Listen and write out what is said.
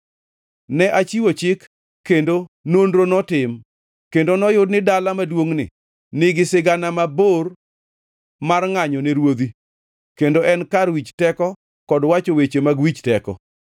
Ne achiwo chik kendo nonro notim, kendo noyud ni dala maduongʼni nigi sigana mabor mar ngʼanyone ruodhi kendo en kar wich teko kod wacho weche mag wich teko.